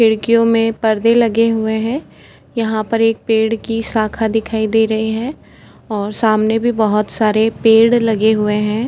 खिड़कियों में परदे लगे हुए हैं। यहां पर एक पेड़ की शाखा दिखाई दे रही है और सामने भी बहोत सारे पेड़ लगे हुए हैं।